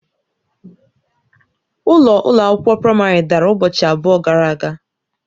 Ụlọ ụlọ akwụkwọ praịmarị dara ụbọchị abụọ gara aga.